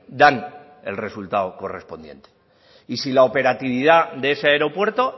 dan el resultado correspondiente y si la operatividad de ese aeropuerto